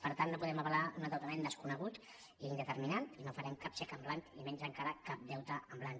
per tant no podem avalar un endeu·tament desconegut i indeterminat i no farem cap xec en blanc i menys encara cap deute en blanc